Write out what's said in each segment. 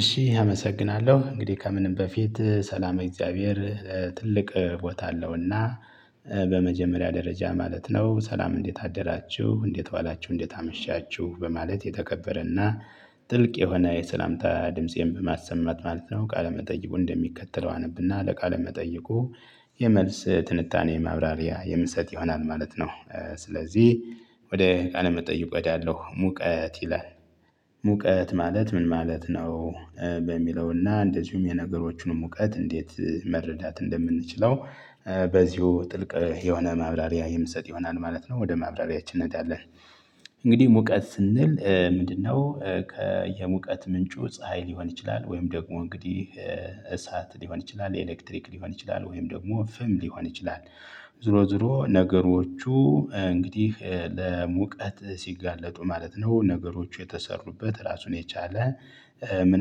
እሺ አመሰግናለሁ። እንግዲህ ከምንም በፊት ሰላም እግዚአብሔር ትልቅ ቦታ አለውና በመጀመሪያ ደረጃ ማለት ነው ሰላም እንዴት አደራችሁ? እንዴት ዋላችሁ? እንዴት አመሻችሁ? በማለት የተከበረና ጥልቅ የሆነ የሰላምታ ድምፄን በማሰማት ማለት ነው። ቃለ መጠይቁ እንደሚከተለው አነብና ለቃለ መጠየቁ የመልስ ትንታኔ ማብራሪያ የምሰጥ ይሆናል። ማለት ነው። ስለዚህ ወደ ቃል መጠይቆ ያለው ሙቀት ይላል። ሙቀት ማለት ምን ማለት ነው? በሚለውና እንደዚሁም የነገሮቹንም እውቀት እንዴት መረዳት እንደምንችለው በዚሁ ጥልቅ የሆነ ማብራሪያ የምትሰጥ ይሆናል። ማለት ነው ወደ ማብራሪያችን እኔዳለን እንግዲህ ሙቀት ስንል ምንድነው? ከየሙቀት ምንጩ ፀሀይ ሊሆን ይችላል። ወይም ደግሞ እንግዲህ እሳት ሊሆን ይችላል። የኤሌክትሪክ ሊሆን ይችላል። ወይም ደግሞ ፍም ሊሆን ይችላል። ዞሮ ዞሮ ነገሮቹ እንግዲህ ለሙቀት ሲጋለጡ ማለት ነው። ነገሮቹ የተሰሩበት ራሱን የቻለ ምን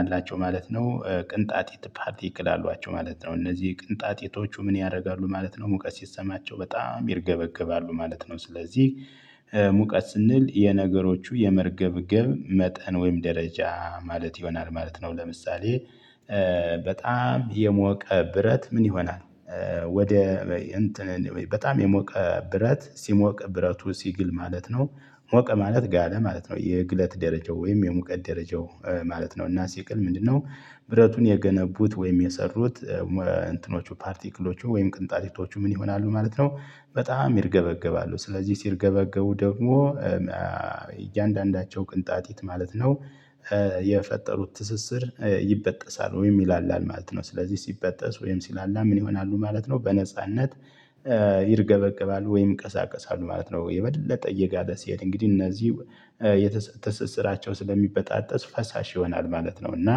አላቸው? ማለት ነው ቅንጣጢት ፓርቲክል አሏቸው ማለት ነው። እነዚህ ቅንጣጢቶቹ ምን ያደርጋ? ማለት ነው ሙቀስ ሲሰማቸው በጣም ይርገበገባሉ። ማለት ነው ስለዚህ ሙቀት ስንል የነገሮቹ የመርገብገብ መጠን ወይም ደረጃ ማለት ይሆናል። ማለት ነው ለምሳሌ በጣም የሞቀ ብረት ምን ይሆናል። ወደ እንትን በጣም የሞቀ ብረት ሲሞቅ ብረቱ ሲግል ማለት ነው ሞቀ ማለት ጋለ ማለት ነው። የግለት ደረጃው ወይም የሙቀት ደረጃው ማለት ነው እና ሲቆል ምንድነው? ብረቱን የገነቡት ወይም የሰሩት እንትኖቹ ፓርቲክሎቹ ወይም ቅንጣቲቶቹ ምን ይሆናሉ? ማለት ነው በጣም ይርገበገባሉ። ስለዚህ ሲርገበገቡ ደግሞ እያንዳንዳቸው ቅንጣጢት ማለት ነው። የፈጠሩት ትስስር ይበጠሳል ወይም ይላላል። ማለት ነው ስለዚህ ሲበጠስ ወይም ሲላላ ምን ይሆናሉ? ማለት ነው በነጻነት ይርገበገባሉ ወይም ይቀሳቀሳሉ። ማለት ነው የበለጠ እየጋለ ለሲሄድ እንግዲህ እነዚህ የተሰሰሰራቸው ስለሚበጣጠስ ፈሳሽ ይሆናል። ማለት ነው እና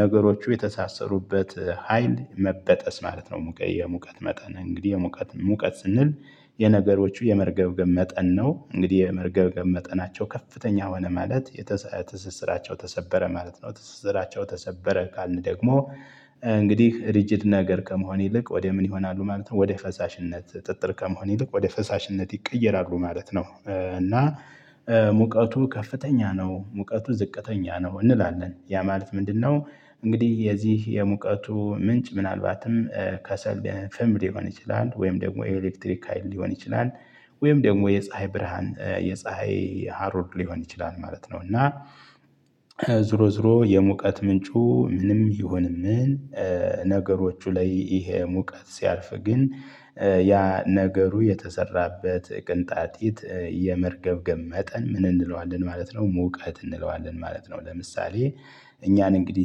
ነገሮቹ የተሳሰሩበት ሀይል መበጠስ ማለት ነው። ሙቀት የመቀን እንግዲህ የሙቀት ሙቀት ስንል የነገሮቹ የመርገብ ገብ መጠን ነው። እንግዲህ የመርገብ መጠናቸው ከፍተኛ ሆነ ማለት የተሰሰሰራቸው ተሰበረ ማለት ነው ትሰስራቸው ተሰበረ ካልን ደግሞ እንግዲህ ሪጅድ ነገር ከመሆን ይልቅ ወደ ምን ይሆናሉ ማለት ነው ወደ ፈሳሽነት ጥጥር ከመሆን ይልቅ ወደ ፈሳሽነት ይቀየራሉ። ማለት ነው እና ሙቀቱ ከፍተኛ ነው ሙቀቱ ዝቅተኛ ነው እንላለን። ያ ማለት ምንድነው? እንግዲህ የዚህ የሙቀቱ ምንጭ ምናልባትም ከሰል በፍም ሊሆን ይችላል። ወይም ደግሞ የኤሌክትሪክ ሀይል ሊሆን ይችላል። ወይም ደግሞ የፀሀይ ብርሃን የፀሀይ ሃሮር ሊሆን ይችላል ማለት ነው። እና ዞሮ ዞሮ የሙቀት ምንጩ ምንም ይሁን ምን ነገሮቹ ላይ ይሄ ሙቀት ሲያልፍ ግን ያ ነገሩ የተሰራበት ቅንጣጢት የመርገብገብ መጠን ምን እንለዋለን? ማለት ነው ሙቀት እንለዋለን። ማለት ነው ለምሳሌ እኛን እንግዲህ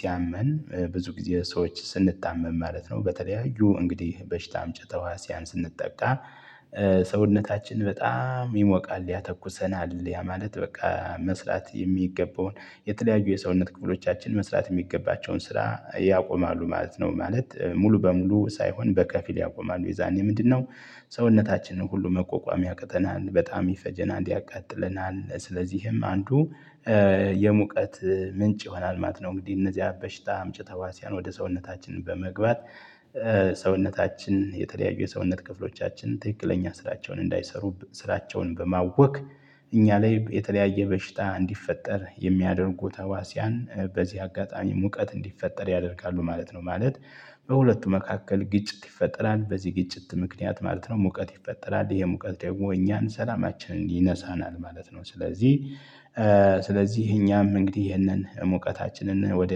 ሲያመን ብዙ ጊዜ ሰዎች ስንታመም ማለት ነው። በተለያዩ እንግዲህ በሽታ አምጭ ተዋሲያን ስንጠቃ ስንጠብቃ ሰውነታችን በጣም ይሞቃል። ያተኩሰናል። ያ ማለት በቃ መስራት የሚገባውን የተለያዩ የሰውነት ክፍሎቻችን መስራት የሚገባቸውን ስራ ያቆማሉ። ማለት ነው። ማለት? ሙሉ በሙሉ ሳይሆን በከፊል ያቆማሉ። የዛኔ ምንድነው? ሰውነታችንን ሁሉ መቋቋሚያ ያቅተናን በጣም ይፈጀናል እንዲያቃጥለናል ስለዚህም አንዱ የሙቀት ምንጭ ይሆናል። ማት ነው እንግዲህ እነዚህ በሽታ አምጭ ተዋሲያን ወደ ሰውነታችን በመግባት ሰውነታችን የተለያዩ የሰውነት ክፍሎቻችን ትክክለኛ ስራቸውን እንዳይሰሩ ስራቸውን በማወክ እኛ ላይ የተለያየ በሽታ እንዲፈጠር የሚያደርጉ ተዋስያን በዚህ አጋጣሚ ሙቀት እንዲፈጠር ያደርጋሉ። ማለት ነው ማለ? በሁለቱ መካከል ግጭት ይፈጠራል። በዚህ ግጭት ምክንያት ማለት ነው ሙቀት ይፈጠራል። ይሄ ሙቀት ደግሞ እኛን ሰላማችንን ይነሳናል። ማለት ነው። ስለዚህ ስለዚህ እኛም እንግዲህ ይሄንን ሙቀታችንን ወደ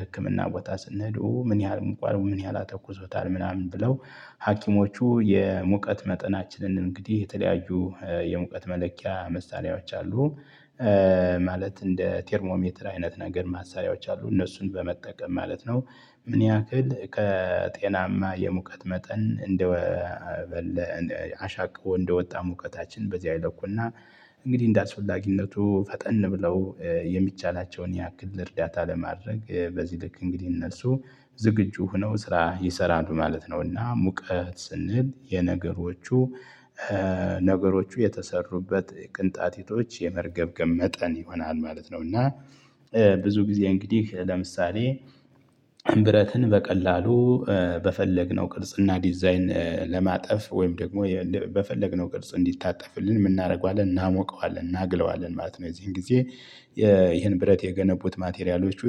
ህክምና ቦታ ስንሄዱ ኡ ምን ያህል? ምን ያህል አተኩሶታል? ምናምን ብለው ሀኪሞቹ የሙቀት መጠናችንን እንግዲህ የተለያዩ የሙቀት መለኪያ መሳሪያዎች አሉ። ማለት እንደ ቴርሞሜትር አይነት ነገር ማሳያዎች አሉ እነሱን በመጠቀም ማለት ነው ምን ያክል? ከጤናማ የሙቀት መጠን እንደ አሻቅቦ እንደወጣ ሙቀታችን በዚህ አይለኩና እንግዲህ እንደአስፈላጊነቱ ፈጠን ብለው የሚቻላቸውን ያክል እርዳታ ለማድረግ በዚህ ልክ እንግዲህ እነሱ ዝግጁ ሆነው ስራ ይሰራሉ። ማለት ነውና ሙቀት ስንል የነገሮቹ ነገሮቹ የተሰሩበት ቅንጣቲቶች የመርገብገብ መጠን ይሆናል። ማለት ነው እና ብዙ ጊዜ እንግዲህ ለምሳሌ ብረትን በቀላሉ በፈለግነው ቅርጽ እና ዲዛይን ለማጠፍ ወይም ደግሞ በፈለግነው ቅርጽ እንዲታጠፍልን ምንናደርገዋለን እናሞቀዋለን እናግለዋለን ማለት ነው። የዚህን ጊዜ ይሄን ብረት የገነቡት ማቴሪያሎቹ